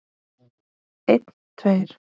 Einn tveir.